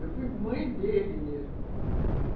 Eu fui mãe dele mesmo.